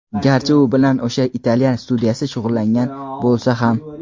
garchi u bilan o‘sha italyan studiyasi shug‘ullangan bo‘lsa ham.